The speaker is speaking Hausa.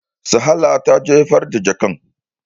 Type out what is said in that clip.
Salaha ta jefar da jakan.